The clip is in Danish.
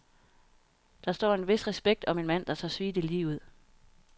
Der står en vis respekt om en mand, der tør sige det lige ud.